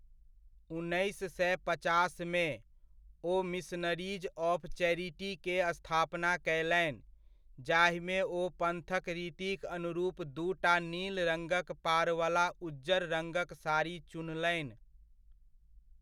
उन्नैस सए पचासमे, ओ मिशनरीज ऑफ चैरिटी के स्थापना कयलनि, जाहिमे ओ पन्थक रीतिक अनुरूप दूटा नील रङ्गक पारवला उज्जर रङ्गक साड़ी चुनलनि।